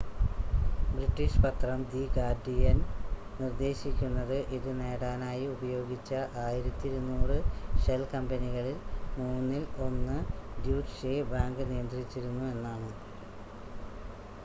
British പത്രം the Guardian നിർദ്ദേശിക്കുന്നത് ഇത് നേടാനായി ഉപയോഗിച്ച 1200 ഷെൽ കമ്പനികളിൽ മൂന്നിൽ ഒന്ന് ഡ്യൂറ്റ്ഷെ ബാങ്ക് നിയന്ത്രിച്ചിരുന്നു എന്നാണ്